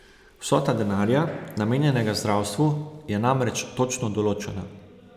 Vsota denarja, namenjenega zdravstvu, je namreč točno določena.